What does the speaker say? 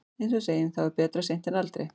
Eins og við segjum, þá er betra seint en aldrei.